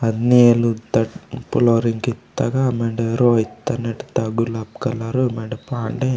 अद नेलु तगा पलोरिंग कित्ता गा मेंडे रो इत्ता नेट्ता गुलाब कलरु मेंडे पांडे।